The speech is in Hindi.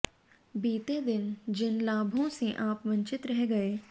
बीते दिन जिन लाभों से आप वंचित रह गए